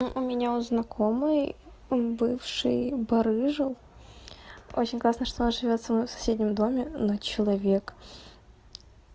у у меня у знакомой он бывший барыжил очень классно что он живёт со мной в соседнем доме но человек